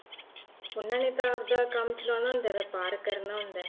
ਉਹਨਾ ਨੇ ਤਾਂ ਆਪ ਦਾ ਕੰਮ ਚਲਾਉਣਾ ਹੁੰਦਾ ਏ ਵਪਾਰ ਕਰਨਾ ਹੁੰਦਾ ਏ